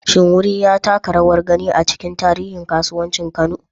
Shin wuri ya taka rawar gani a cikin tarihin kasuwancin Kano?